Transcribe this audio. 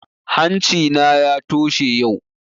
Hanci na ya toshe yau